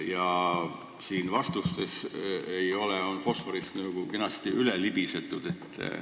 Aga vastustes seda ei ole, fosforist on tabelis kenasti üle libisetud.